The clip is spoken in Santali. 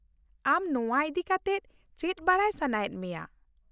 ᱟᱢ ᱱᱚᱶᱟ ᱤᱫᱤ ᱠᱟᱛᱮ ᱪᱮᱫ ᱵᱟᱰᱟᱭ ᱥᱟᱱᱟᱭᱮᱫ ᱢᱮᱭᱟ ?